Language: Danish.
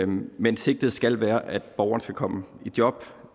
men sigtet skal være at borgeren skal komme i job